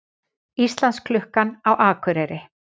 Íslandsklukkan á Akureyri